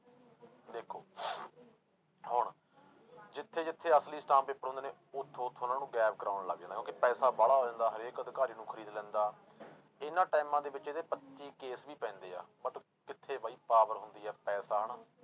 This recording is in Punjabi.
ਦੇਖੋ ਹੁਣ ਜਿੱਥੇ ਜਿੱਥੇ ਅਸਲੀ ਅਸਟਾਮ ਪੇਪਰ ਹੁੰਦੇ ਨੇ ਉੱਥੋਂ ਉੱਥੋਂ ਉਹਨਾਂ ਨੂੰ ਗਾਇਬ ਕਰਵਾਉਣ ਲੱਗ ਜਾਂਦਾ ਕਿਉਂਕਿ ਪੈਸਾ ਵਾਲਾ ਹੋ ਜਾਂਦਾ ਹਰੇਕ ਅਧਿਕਾਰੀ ਨੂੰ ਖ਼ਰੀਦ ਲੈਂਦਾ ਇਹਨਾਂ ਟਾਇਮਾਂ ਦੇ ਵਿੱਚ ਇਹਦੇ ਪੱਚੀ case ਵੀ ਪੈਂਦੇ ਆ but ਕਿੱਥੇ ਬਾਈ power ਹੁੰਦੀ ਆ ਪੈਸਾ ਹਨਾ,